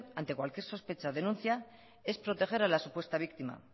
ante cualquier sospecha o denuncia es proteger a la supuesta víctima